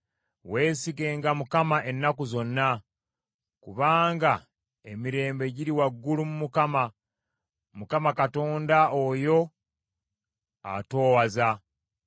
Weesigenga Mukama ennaku zonna, kubanga emirembe giri waggulu mu Mukama , Mukama Katonda oyo atoowaza.